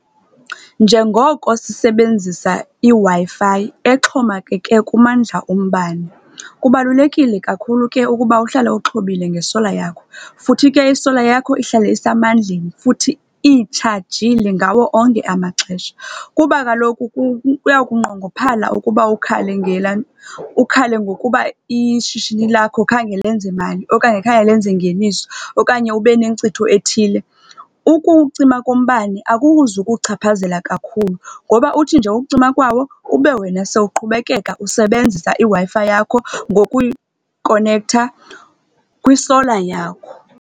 Njengoko sisebenzisa iWi-Fi exhomekeke kumandla ombane, kubalulekile kakhulu ke ukuba uhlale uxhobile nge-solar yakho. Futhi ke i-solar yakho ihlale isemandleni futhi itshajile ngawo onke amaxesha. Kuba kaloku kuya kunqongophala ukuba ukhale ukhale ngokuba ishishini lakho khange lenze mali, okanye khange lenze ngeniso, okanye ube nencitho ethile. Ukucima kombane akukuzukuchaphazela kakhulu ngoba uthi nje ukucima kwawo, ube wena sowuqhubekeka usebenzisa iWi-Fi yakho ngokuyikonekta kwi-solar yakho.